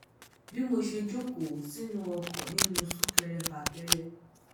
bí mo ṣe jókòó sínú ọkọ̀ ninu sunkẹẹrẹfàkẹẹrẹ